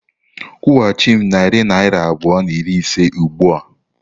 Kwụghachi m narị naira abụọ na iri ise ugbu a!